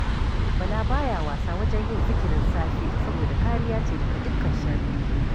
Bala ba ya wasa wajen yin zikirin safe saboda kariya ce daga dukkan sharri